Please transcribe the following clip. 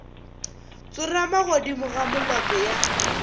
tsorama godimo ga molope ya